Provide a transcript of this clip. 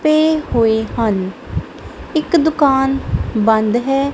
ਪਏ ਹੋਏ ਹਨ ਇੱਕ ਦੁਕਾਨ ਬੰਦ ਹੈ।